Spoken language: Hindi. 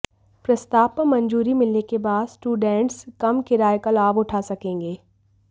प्रस्ताव पर मंजूरी मिलने के बाद स्टूडेंट्स कम किराए का लाभ उठा सकेंगे